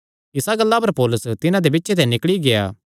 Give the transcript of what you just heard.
इसा गल्ला पर पौलुस तिन्हां दे बिच्चे ते निकल़ी गेआ